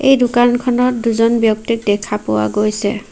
এই দোকানখনত দুজন ব্যক্তিক দেখা পোৱা গৈছে।